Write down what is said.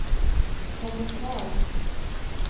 kommentar